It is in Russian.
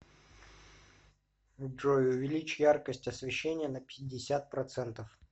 джой увеличь яркость освещения на пятьдесят процентов